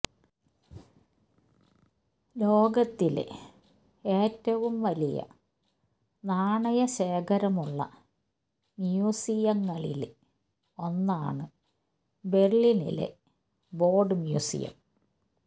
ലോകത്തിലെ ഏറ്റവും വലിയ നാണയ ശേഖരമുള്ള മ്യൂസിയങ്ങളില് ഒന്നാണ് ബെര്ലിനിലെ ബോഡ് മ്യൂസിയം